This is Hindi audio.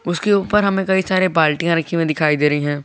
उसके ऊपर हमें कई सारे बल्टिया रखी हुई दिखाई दे रही है।